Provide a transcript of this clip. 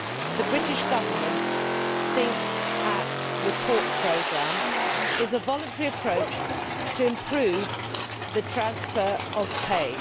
The British Government's Think, Act, Report' programme is a voluntary approach to improve the transfer of pay.